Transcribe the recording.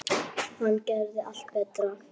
Hann gerði allt betra.